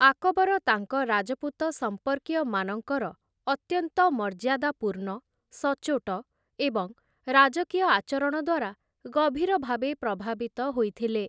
ଆକବର ତାଙ୍କ ରାଜପୁତ ସମ୍ପର୍କୀୟମାନଙ୍କର ଅତ୍ୟନ୍ତ ମର୍ଯ୍ୟାଦାପୂର୍ଣ୍ଣ, ସଚ୍ଚୋଟ ଏବଂ ରାଜକୀୟ ଆଚରଣ ଦ୍ୱାରା ଗଭୀର ଭାବେ ପ୍ରଭାବିତ ହୋଇଥିଲେ ।